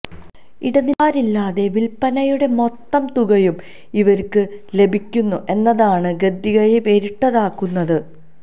ഇടനിലക്കാരില്ലാതെ വിൽപനയുടെ മൊത്തം തുകയും ഇവർക്ക് ലഭിക്കുന്നു എന്നതാണ് ഗദ്ദികയെ വേറിട്ടതാക്കുന്നത്